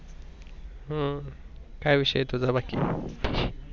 हम्म काय विषय तुझा बाकी?